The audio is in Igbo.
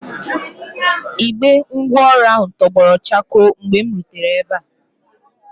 Igbe ngwaọrụ ahụ tọgbọrọ chakoo mgbe m rutere ebe a.